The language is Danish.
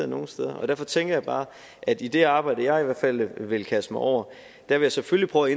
nogen steder og derfor tænker jeg bare at i det arbejde jeg i hvert fald vil kaste mig over vil jeg selvfølgelig prøve